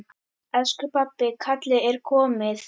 Elsku pabbi, kallið er komið.